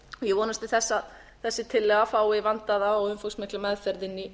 ég vonast til þess að þessi tillaga fái vandaða og umfangsmikla meðferð inni í